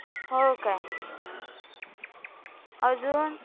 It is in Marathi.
हो का? अजून?